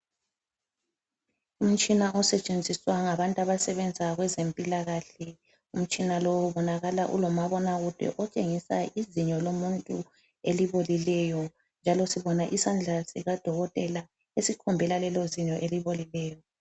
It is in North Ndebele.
Umtshina osetshenziswa ngabantu abasebenza kwezempilakahle , umtshina lowu ubonakala ulomabonakude otshengisa izinyo lomuntu elibolileyo, njalo sibona isandla sikadokotela esikhombela lelo zinyo elibolileyo.